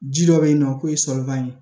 Ji dɔ be yen nɔ k'o ye solokan ye